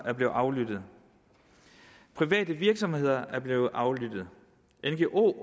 er blevet aflyttet private virksomheder er blevet aflyttet ngo